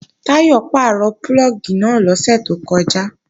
Táyọ̀ pàrọ̀ púlọ̀gì náà lọ́sẹ̀ tó kọjá